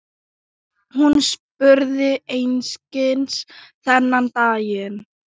Hún spurði einskis þennan daginn.